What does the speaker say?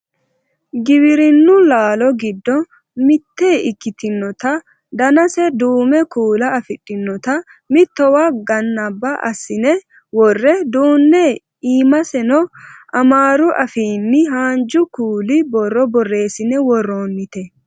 giwirinnu laalo giddo mitte ikkitinota danase duumo kuula afidhinota mittowa ganaba assine worre duunne iimaseno amaaru afiinni haanju kuuli borro borreessine worroonnite